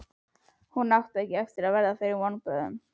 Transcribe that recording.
Hún átti ekki eftir að verða fyrir vonbrigðum.